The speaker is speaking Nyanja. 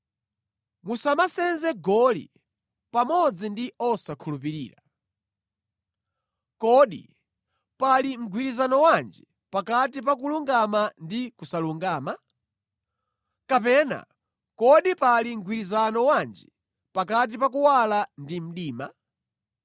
Musamasenze goli pamodzi ndi osakhulupirira. Kodi pali mgwirizano wanji pakati pa kulungama ndi kusalungama? Kapena kodi pali mgwirizano wanji pakati pa kuwala ndi mdima?